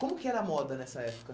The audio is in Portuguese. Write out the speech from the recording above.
Como que era a moda nessa época?